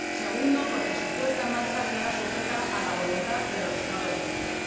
segundo, porque su puesta en marcha queda sujeta a la voluntad de los Estados miembros